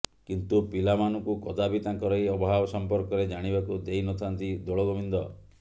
କିନ୍ତୁ ପିଲାମାନଙ୍କୁ କଦାପି ତାଙ୍କର ଏ ଅଭାବ ସମ୍ପର୍କରେ ଜାଣିବାକୁ ଦେଇନଥାନ୍ତି ଦୋଳଗୋବିନ୍ଦ